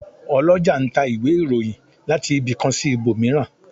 Olọjà n ta íwe-irohìn latí ibi kan si íbomirán